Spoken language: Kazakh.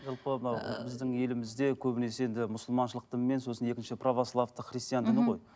жалпы мынау біздің елімізде көбінесе енді мұсылманшылық дін мен сосын екінші православдық христиан діні ғой